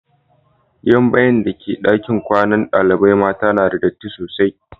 Gidan bayin' da ke dakin kwanan dalibain mata na da datti sosai.